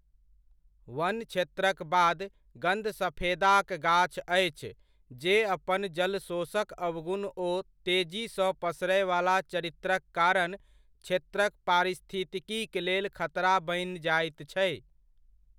वन क्षेत्रक बाद गन्धसफेदाक गाछ अछि जे अपन जलशोषक अवगुण ओ तेजीसँ पसरयवला चरित्रक कारण क्षेत्रक पारिस्थितिकीक लेल खतरा बनि जाइत छै।